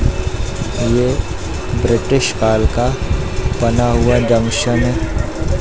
अ ये ब्रिटिश काल का बना हुआ जंक्शन हैं।